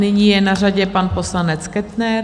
Nyní je na řadě pan poslanec Kettner.